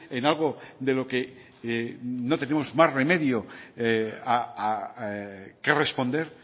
en algo de lo que no tenemos más remedio que responder